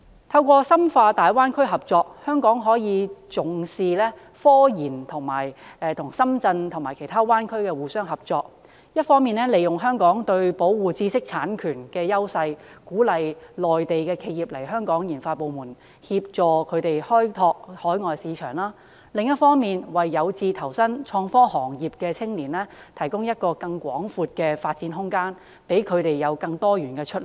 通過深化大灣區合作，香港可以與重視科研的深圳及大灣區內其他城市合作，一方面利用香港對保護知識產權的優勢，鼓勵內地企業來香港設立研發部門，協助它們開拓海外市場；另一方面為有志投身創科行業的青年提供一個更廣闊的發展空間，讓他們有更多元的出路。